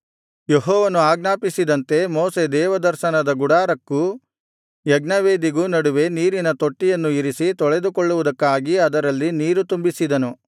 ಯೆಹೋವನು ಆಜ್ಞಾಪಿಸಿದಂತೆ ಮೋಶೆ ದೇವದರ್ಶನದ ಗುಡಾರಕ್ಕೂ ಯಜ್ಞವೇದಿಗೂ ನಡುವೆ ನೀರಿನ ತೊಟ್ಟಿಯನ್ನು ಇರಿಸಿ ತೊಳೆದುಕೊಳ್ಳುವುದಕ್ಕಾಗಿ ಅದರಲ್ಲಿ ನೀರು ತುಂಬಿಸಿದನು